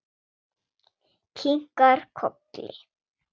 Kinkar kolli.